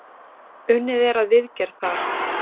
Unnið er að viðgerð þar.